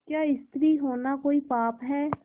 क्या स्त्री होना कोई पाप है